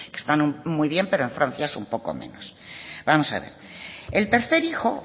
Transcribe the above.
están muy bien pero en francia es un poco menos vamos a ver el tercer hijo